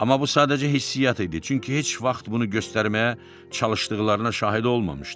Amma bu sadəcə hissiyat idi, çünki heç vaxt bunu göstərməyə çalışdıqlarına şahid olmamışdı.